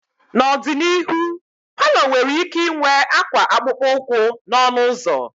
N'ọdịnihu, palọ nwere ike ịnwe akwa akpụkpọ ụkwụ n'ọnụ ụzọ.